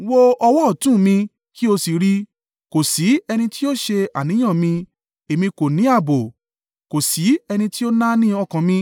Wo ọwọ́ ọ̀tún mi kí ó sì rì i kò sí ẹni tí ó ṣe àníyàn mi èmi kò ní ààbò; kò sí ẹni tí ó náání ọkàn mi.